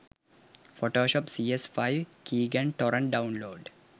photoshop cs5 keygen torrent download